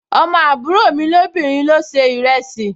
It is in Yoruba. Ọmọ àbúrò mi lóbìnrin ló se ìrẹsì